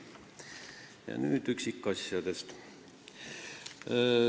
Ja nüüd üksikasjadest.